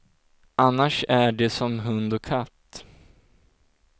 Annars är de som hund och katt.